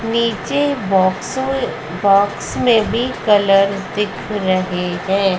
नीचे boxer box में भी कलर दिख रहे हैं।